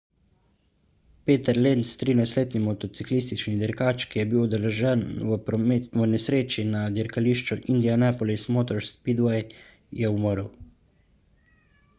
peter lenz 13-letni motociklistični dirkač ki je bil udeležen v nesreči na dirkališču indianapolis motor speedway je umrl